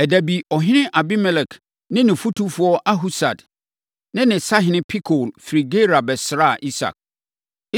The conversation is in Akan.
Ɛda bi, ɔhene Abimelek ne ne fotufoɔ Ahusad ne ne sahene Pikol firi Gerar bɛsraa Isak.